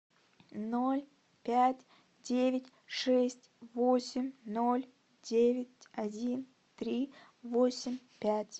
ноль пять девять шесть восемь ноль девять один три восемь пять